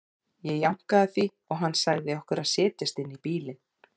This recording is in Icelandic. Ég jánkaði því og hann sagði okkur að setjast inn í bílinn.